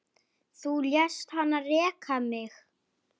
Þú lést hann reka mig